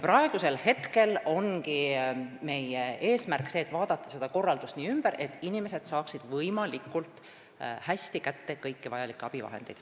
Praegu ongi meie eesmärk vaadata seda korraldust üle, nii et inimesed saaksid võimalikult hästi kätte kõiki vajalikke abivahendeid.